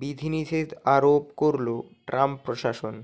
বিধিনিষেধ আরোপ করল ট্রাম্প প্রশাসন